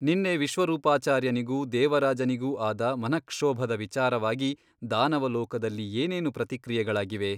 ನಿನ್ನೆ ವಿಶ್ವರೂಪಾಚಾರ್ಯನಿಗೂ ದೇವರಾಜನಿಗೂ ಆದ ಮನಃಕ್ಷೋಭದ ವಿಚಾರವಾಗಿ ದಾನವಲೋಕದಲ್ಲಿ ಏನೇನು ಪ್ರತಿಕ್ರಿಯೆಗಳಾಗಿವೆ?